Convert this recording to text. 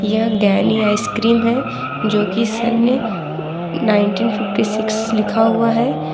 यह गैनी आइसक्रीम है जो की सने नाइंटीन फिफ्टी सिक्स लिखा हुआ है।